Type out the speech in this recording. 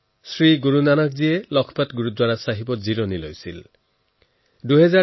শ্ৰী গুৰু নানকজীয়ে নিজৰ বিষন্নতাৰ সময়ত লাখপত গুৰদ্বাৰা চাহেবত আছিল